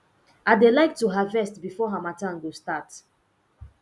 i dey like to harvest before harmattan go start